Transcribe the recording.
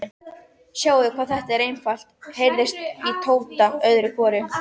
Sjáðu hvað þetta er einfalt, heyrðist í Tóta öðru hvoru.